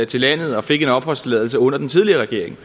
til landet og fik en opholdstilladelse under den tidligere regering